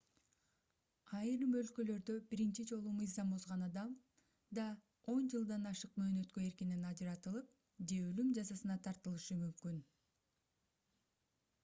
айрым өлкөлөрдө биринчи жолу мыйзам бузган адам да 10 жылдан ашык мөөнөткө эркинен ажыратылып же өлүм жазасына тартылышы мүмкүн